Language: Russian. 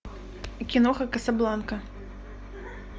киноха касабланка